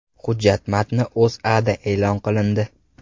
Hujjat matni O‘zAda e’lon qilindi .